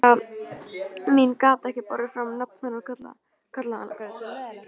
Fóstra mín gat ekki borið fram nafn hennar og kallaði hana